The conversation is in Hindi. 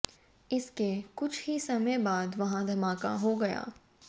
इसके कुछ ही समय बाद वहां धमाका हो गया